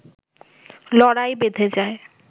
লড়াই বেধে যায়